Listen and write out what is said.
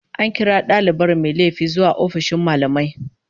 An kira dalibar mai laifi zuwa ofishin mallamai